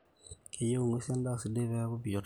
keyieu in'guesin edaa sidai peeku baatisho